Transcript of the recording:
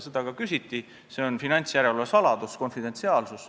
Seda ka küsiti, see on finantsjärelevalve konfidentsiaalsus.